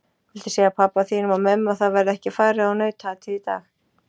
Viltu segja pabba þínum og mömmu að það verði ekki farið á nautaatið í dag!